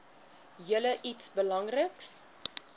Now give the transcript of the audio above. julle iets belangriks